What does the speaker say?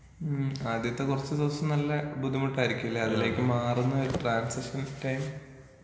ഉം ആദ്യത്തെ കൊറച്ച് ദിവസം നല്ല ബുദ്ധിമുട്ടായിരിക്കുംലെ അതിലേക്ക് മാറുന്നൊരു ട്രാന്‍സിഷണല്‍ ടൈം